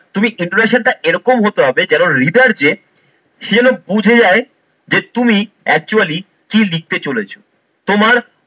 তুমি introduction টা এরকম হতে হবে যেন reader যে সে যেন বুঝে যায় যে তুমি actually কি লিখতে চলেছো, তোমার